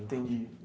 Entendi.